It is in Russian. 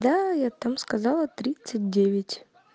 да я там сказала тридцать девять